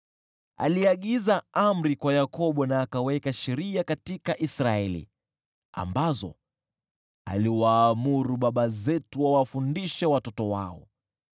Aliagiza amri kwa Yakobo na akaweka sheria katika Israeli, ambazo aliwaamuru baba zetu wawafundishe watoto wao,